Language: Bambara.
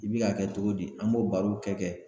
I bi ka kɛ cogo di an b'o barow kɛ kɛ